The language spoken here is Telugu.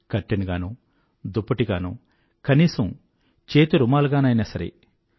కర్టెన్ గానో దుప్పటి గానో కనీసం రుమాలుగానైనా సరే